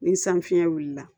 Ni san fiɲɛ wulila